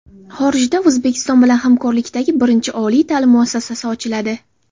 Xorijda O‘zbekiston bilan hamkorlikdagi birinchi oliy ta’lim muassasasi ochiladi.